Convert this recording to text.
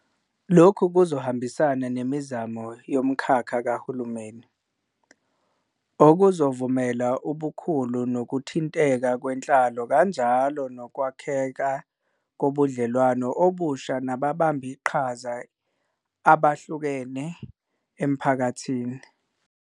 Lokhu kuzohambisana nemizamo yomkhakha kahulumeni, okuzovumela ubukhulu nokuthinteka kwenhlalo kanjalo nokwakheka kobudlelwano obusha nababambiqhaza abehlukene emphakathini.